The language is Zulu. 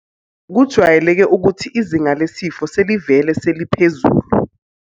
.kujwayeleke ukuthi izinga lesifo selivele seliphezulu.